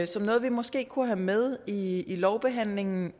som noget vi måske kunne have med i i lovbehandlingen